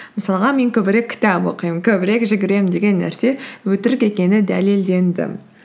мысалға мен көбірек кітап оқимын көбірек жүгіремін деген нәрсе өтірік екені дәлелденді